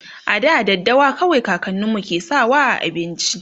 a da daddawa kawai kakaninmu ke sawa a abinci